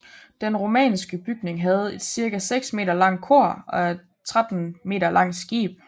Den romanske bygning havde et cirka 6 m langt kor og et 13 m langt skib